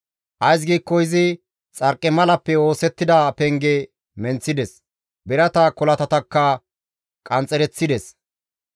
Ays giikko izi xarqimalappe oosettida penge menththides; birata kolatatakka qanxxereththides.